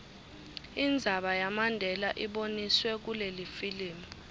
indzaba yamandela iboniswe kulelifilimu